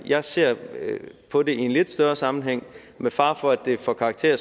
jeg ser på det i en lidt større sammenhæng og med fare for at det får karakter